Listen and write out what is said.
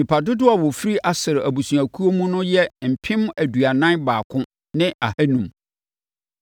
Nnipa dodoɔ a wɔfiri Aser abusuakuo no mu yɛ mpem aduanan baako ne ahanum (41,500).